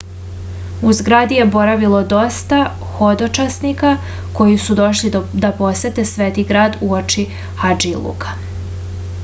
u zgradi je boravilo dosta hodočasnika koji su došli da posete sveti grad uoči hadžiluka